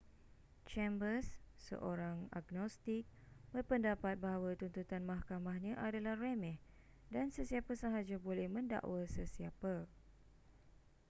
chambers seorang agnostik berpendapat bahawa tuntutan mahkamahnya adalah remeh dan sesiapa sahaja boleh mendakwa sesiapa